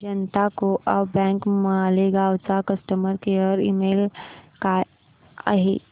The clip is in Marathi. जनता को ऑप बँक मालेगाव चा कस्टमर केअर ईमेल काय आहे